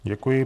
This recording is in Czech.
Děkuji.